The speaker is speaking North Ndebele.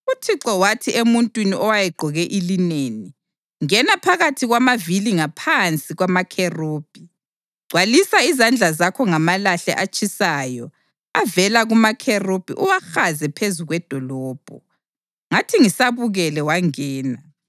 UThixo wathi emuntwini owayegqoke ilineni, “Ngena phakathi kwamavili ngaphansi kwamakherubhi. Gcwalisa izandla zakho ngamalahle atshisayo avela kumakherubhi uwahaze phezu kwedolobho.” Ngathi ngisabukele wangena.